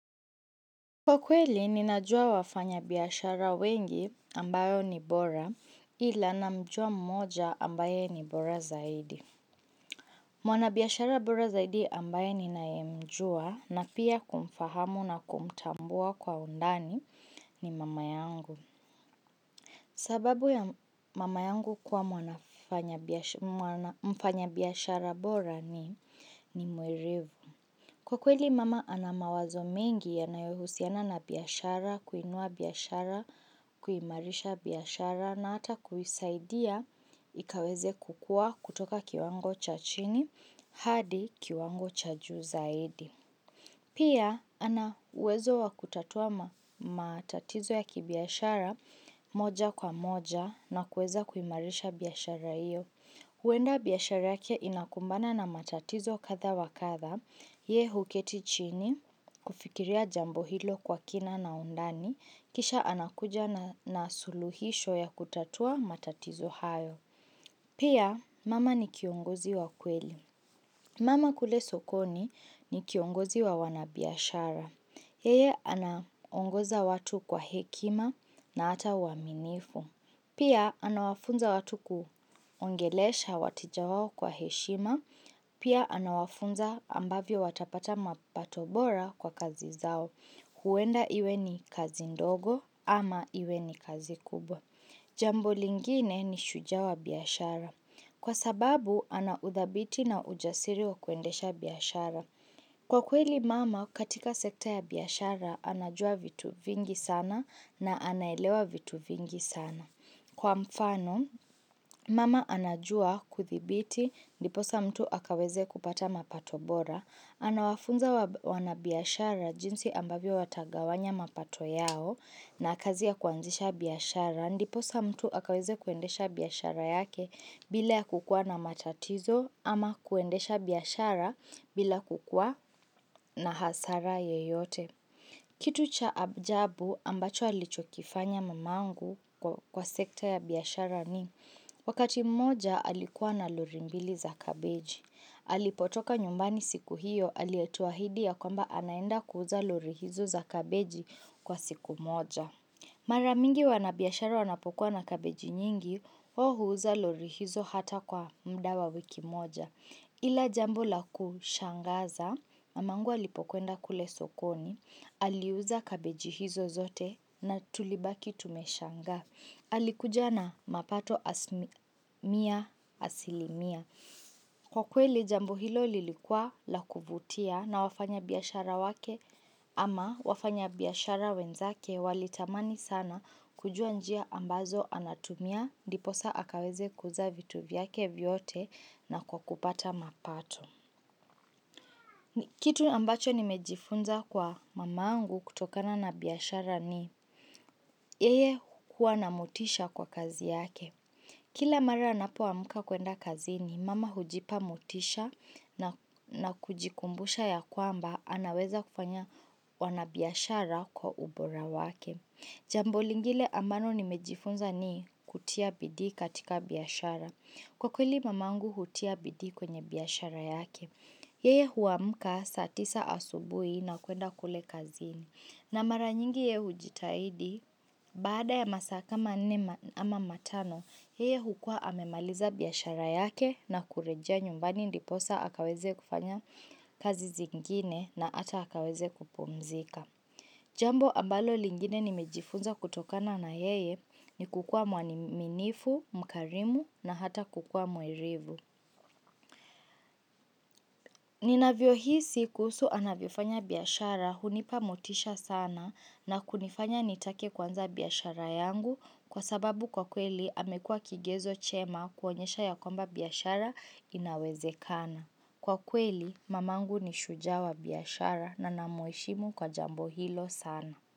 Kwa kweli, ninajua wafanyabiashara wengi ambao ni bora ila namjua mmoja ambaye ni bora zaidi. Mwanabiashara bora zaidi ambaye ninayemjua na pia kumfahamu na kumtambua kwa undani ni mama yangu. Sababu ya mama yangu kuwa mwanafanya mwana mfanyabiashara bora ni ni mwerevu. Kwa kweli mama ana mawazo mengi yanayohusiana na biashara, kuinua biashara, kuimarisha biashara na hata kuisaidia ikaweze kukua kutoka kiwango cha chini hadi kiwango cha juu zaidi. Pia, ana uwezo wa kutatua matatizo ya kibiashara moja kwa moja na kueza kuimarisha biashara iyo. Huenda biashara yake inakumbana na matatizo kadha wa kadha, yee huketi chini, kufikiria jambo hilo kwa kina na undani, kisha anakuja na suluhisho ya kutatua matatizo hayo. Pia mama ni kiongozi wa kweli. Mama kule sokoni ni kiongozi wa wanabiashara. Yeye anaongoza watu kwa hekima na hata uaminifu. Pia anawafunza watu kuongelesha wateja wao kwa heshima. Pia anawafunza ambavyo watapata mapato bora kwa kazi zao. Huenda iwe ni kazi ndogo ama iwe ni kazi kubwa. Jambo lingine ni shujaa wa biashara. Kwa sababu ana udhabiti na ujasiri wa kuendesha biashara. Kwa kweli mama katika sekta ya biashara anajua vitu vingi sana na anaelewa vitu vingi sana. Kwa mfano, mama anajua kuthibiti ndiposa mtu akaweze kupata mapato bora, anawafunza wanabiashara jinsi ambavyo watagawanya mapato yao na kazi ya kuanzisha biashara, ndiposa mtu akaweze kuendesha biashara yake bila ya kukua na matatizo ama kuendesha biashara bila kukua na hasara yeyote. Kitu cha abjabu ambacho alichokifanya mamangu kwa sekta ya biashara ni wakati moja alikuwa na lori mbili za kabeji. Alipotoka nyumbani siku hiyo alituahidia kwamba anaenda kuuza lori hizo za kabeji kwa siku moja. Mara mingi wanabiashara wanapokuwa na kabeji nyingi, wao huuza lori hizo hata kwa mda wa wiki moja. Ila jambo la kushangaza, mamangu alipokwenda kule sokoni, aliuza kabeji hizo zote na tulibaki tumeshangaa. Alikuja na mapato asimia asilimia. Kwa kweli jambo hilo lilikuwa la kuvutia na wafanyabiashara wake ama wafanyabiashara wenzake walitamani sana kujua njia ambazo anatumia. Ndiposaa\ akaweze kuuza vitu vyake vyote na kwa kupata mapato Kitu ambacho nimejifunza kwa mamangu kutokana na biashara ni Yeye huwa na motisha kwa kazi yake Kila mara napoamka kuenda kazini mama hujipa motisha na kujikumbusha ya kwamba anaweza kufanya uanabiashara kwa ubora wake Jambo lingile ambalo nimejifunza ni kutia bidii katika biashara Kwa kweli mamangu hutia bidii kwenye biashara yake. Yeye huamka saa tisa asubuhi na kuenda kule kazini. Na mara nyingi ye hujitahidi, baada ya masaa kama nne ama matano, yeye hukua amemaliza biashara yake na kurejea nyumbani ndiposa akaweze kufanya kazi zingine na hata akaweze kupumzika. Jambo ambalo lingine nimejifunza kutokana na yeye ni kukua mwaniminifu, mkarimu na hata kukua mwerevu. Ninavyohisi kuhusu anavyofanya biashara hunipa motisha sana na kunifanya nitake kwuanza biashara yangu kwa sababu kwa kweli amekuwa kigezo chema kuonyesha ya kwamba biashara inawezekana. Kwa kweli mamangu ni shujaa wa biashara na namuheshimu kwa jambo hilo sana.